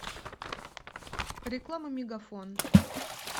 реклама мегафон